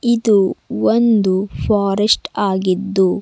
ಇದು ಒಂದು ಫಾರೆಸ್ಟ್ ಆಗಿದ್ದು--